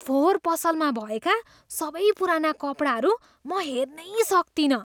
फोहोर पसलमा भएका सबै पुराना कपडाहरू म हेर्नै सक्तिनँ।